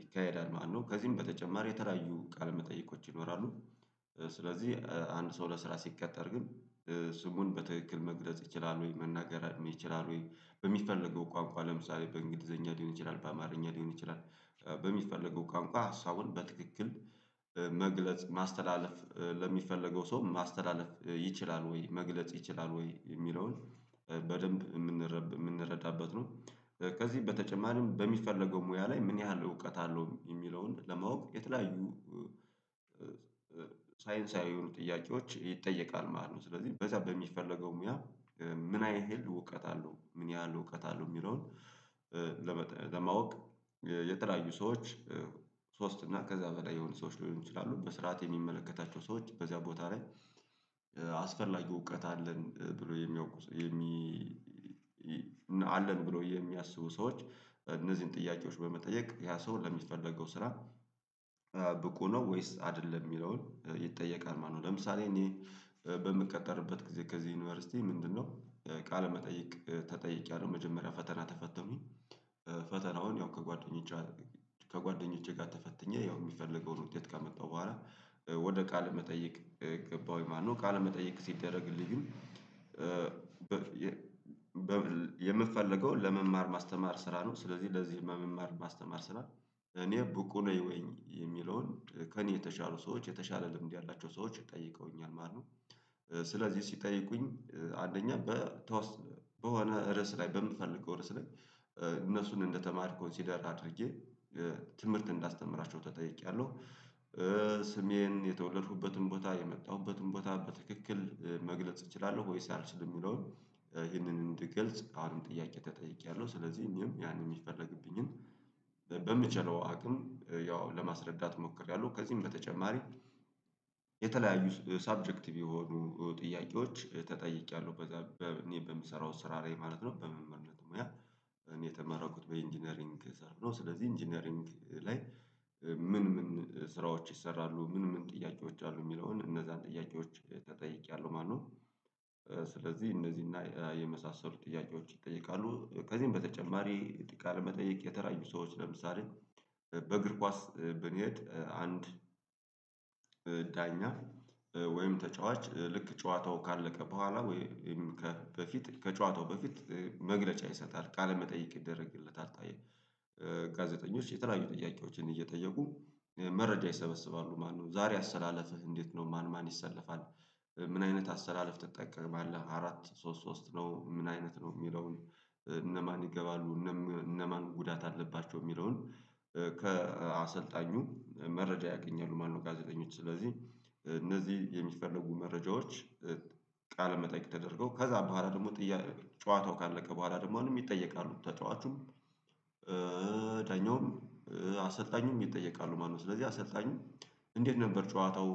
ይካሄዳል ማለት ነው። ከዚህም በተጨማሪ የተለያዩ ቃለመጠይቆች ይኖራሉ። ስለዚህ አንድ ሰው ለስራ ሲቀጠር ግን ስሙን በትክክል መግለጽ ይችላል ወይ መናገር ይችላል ወይ በሚፈለገው ቋንቋ ለምሳሌ በእንግሊዘኛ ሊሆን ይችላል በአማርኛ ሊሆን ይችላል። በሚፈለገው ቋንቋ ሀሳቡን በትክክል መግለጽ ማስተላለፍ ለሚፈለገው ሰው ማስተላለፍ ይችላል ወይ መግለጽ ይችላል ወይ የሚለውን በደንብ የምንረዳበት ነው። ከዚህ በተጨማሪም በሚፈለገው ሙያ ላይ ምን ያህል እውቀት አለው የሚለውን ለማወቅ የተለያዩ ሳይንሳዊ የሆኑ ጥያቄዎች ይጠየቃል ማለት ነው። ስለዚህ በዛ በሚፈለገው ሙያ ምን ያህል እውቀት አለው ምን ያህል እውቀት አለው የሚለውን። ለማወቅ የተለያዩ ሰዎች ሶስት እና ከዛ በላይ የሆኑ ሰዎች ሊሆኑ ይችላሉ በስርዓት የሚመለከታቸው ሰዎች በዚያ ቦታ ላይ። አስፈላጊ እውቀት አለን ብሎ የሚያውቁ ሰዎች አለን ብሎ የሚያስቡ ሰዎች እነዚህን ጥያቄዎች በመጠየቅ ያ ሰው ለሚፈለገው ስራ ብቁ ነው ወይስ አይደለም የሚለውን ይጠየቃል ማለት ነው። ለምሳሌ እኔ በምቀጠርበት ጊዜ ከዚህ ዩኒቨርሲቲ ምንድነው ቃለመጠየቅ ተጠይቅያለው መጀመሪያ ፈተና ተፈተንኩኝ። ፈተናውን ያው ከጓደኞቼ ጋር ከጓደኞቼ ጋር ተፈትኜ ያው የሚፈልገውን ውጤት ካመጣው በኋላ ወደ ቃለ መጠየቅ ገባሁኝ ማለት ነው። ቃለ መጠየቅ ሲደረግልኝ ግን የምፈልገውን ለመማር ማስተማር ስራ ነው። ስለዚህ ለዚህ መማር ማስተማር ስራ እኔ ብቁ ነኝ የሚለውን ከእኔ የተሻሉ ሰዎች የተሻለ ልምድ ያላቸው ሰዎች ጠይቀውኛል ማለት ነው። ስለዚህ ሲጠይቁኝ አንደኛ በተወሰነ በሆነ ርዕስ ላይ በምፈልገው ርዕስ ላይ እነሱን እንደተማሪ ኮንሲደር አድርጌ ትምህርት እንዳስተምራቸው ተጠይቄያለው። ስሜን የተወለዱበትን ቦታ የመጣሁበትን ቦታ በትክክል መግለጽ እችላለሁ ወይስ አልችልም የሚለውን ይህንን እንድግልጽ አንድ ጥያቄ ተጠይቄያለሁ። ስለዚህ እኔም ያንን የሚፈለግብኝን በምችለው አቅም ያው ለማስረዳት ሞክሬያለሁ። ከዚህም በተጨማሪ የተለያዩ ሰብጀክት የሆኑ ጥያቄዎች ተጠይቄያለሁ። በምሰራው ስራ ላይ ማለት ነው በመምህርነት ሙያ እኔ የተመረኩት በኢንጂነሪንግ ዘርፍ ነው። ስለዚህ ኢንጂነሪንግ ላይ ምን ምን ስራዎች ይሰራሉ ምን ምን ጥያቄዎች አሉ የሚለውን እነዛን ጥያቄዎች ተጠይቄያለሁ ማለት ነው። ስለዚህ እነዚህና የመሳሰሉ ጥያቄዎች ይጠይቃሉ ከዚህም በተጨማሪ ቃለ መጠይቅ የተለያዩ ሰዎች ለምሳሌ። በእግር ኳስ ብንሄድ አንድ ዳኛ ወይም ተጫዋች ልክ ጨዋታው ካለቀ በኋላ ወይም ከበፊት ከጨዋታው በፊት መግለጫ ይሰጣል። ቃለመጠይቅ ይደረግለታል አታየም ጋዜጠኞች የተለያዩ ጥያቄዎችን እየጠየቁ መረጃ ይሰበስባሉ ማነው ዛሬ አሰላለፍህ እንዴት ነው? ማን ማን ይሰለፋል? ምን አይነት አሰላለፍ ትጠቀማለህ አራት ሶስት ሶስት ነው ምን አይነት ነው የሚለውን? እነማን ይገባሉ እነማን ጉዳት አለባቸው የሚለውን? ከአሰልጣኙ መረጃ ያገኛሉ። ማነው ጋዜጠኞች ስለዚህ እነዚህ የሚፈልጉ መረጃዎች ቃለ መጠየቅ ተደርጎ ከዛ በኋላ ደግሞ ጨዋታው ካለቀ በኋላ ደግሞ አሁንም ይጠየቃሉ ተጫዋቹም ዳኛውም አሰልጣኙም ይጠየቃሉ። ማለት ነው ስለዚህ አሰልጣኙ እንዴት ነበር ጨዋታው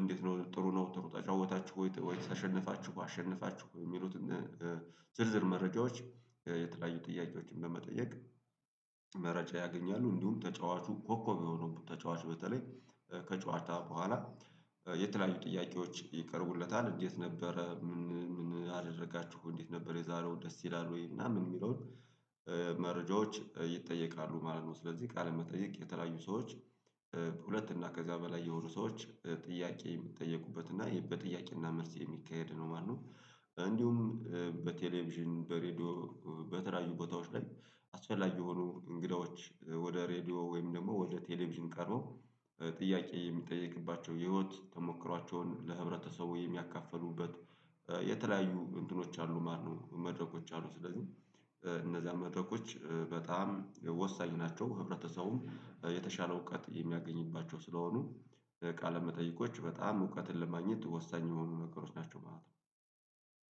እንዴት ነው ጥሩ ነው ጥሩ ተጫወታችሁ ወይ ጥሩ ተሸነፋችሁ አሸንፋችሁ የሚሉትን? ዝርዝር መረጃዎች የተለያዩ ጥያቄዎችን በመጠየቅ መረጃ ያገኛሉ። እንዲሁም ተጫዋቹ ኮኮብ የሆኑ ተጫዋች በተለይ ከጨዋታ በኋላ የተለያዩ ጥያቄዎች ይቀርቡለታል። እንዴት ነበረ ምን ምን አደረጋችሁ እንዴት ነበር የዛሬው ደስ ይላል ወይ ምናምን ሚለውን? መረጃዎች ይጠየቃሉ ማለት ነው። ስለዚህ ቃል መጠየቅ የተለያዩ ሰዎች እና ከዛ በላይ የሆኑ ሰዎች ጥያቄ የሚጠየቁበት እና በጥያቄ እና መልስ የሚካሄድ ነው ማለት ነው። እንዲሁም በቴሌቪዥን በሬዲዮ በተለያዩ ቦታዎች ላይ አስፈላጊ የሆኑ እንግዳዎች ወደ ሬድዮ ወይም ደግሞ ወደ ቴሌቪዥን ቀርበው ጥያቄ የሚጠየቅባቸው የህይወት ተሞክሯቸውን ለህብረተሰቡ የሚያካፍሉበት የተለያዩ እንትኖች አሉ ማለት ነው። መድረኮች አሉ። ስለዚህ እነዛን መድረኮች በጣም ወሳኝ ናቸው ህብረተሰቡም የተሻለ እውቀት የሚያገኝባቸው ስለሆኑ ቃለ መጠይቆች በጣም እውቀትን ለማግኘት ወሳኝ የሆኑ ነገሮች ናቸው ማለት ነው።